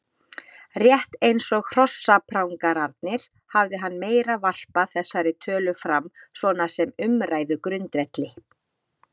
Rétt eins og hrossaprangararnir hafði hann meira varpað þessari tölu fram svona sem umræðugrundvelli.